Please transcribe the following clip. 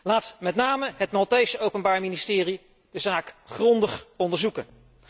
Laat met name het Maltese openbaar ministerie de zaak grondig onderzoeken.